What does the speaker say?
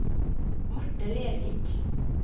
Marte Lervik